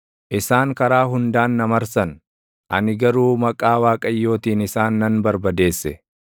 Isaan karaa hundaan na marsan; ani garuu maqaa Waaqayyootiin isaan nan barbadeesse.